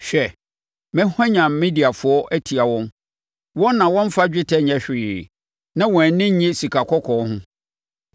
Hwɛ, mɛhwanyan Mediafoɔ atia wɔn, wɔn na wɔmfa dwetɛ nyɛ hwee na wɔn ani nnye sikakɔkɔɔ ho.